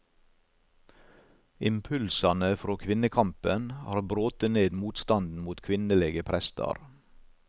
Impulsane frå kvinnekampen har brote ned motstanden mot kvinnelege prestar.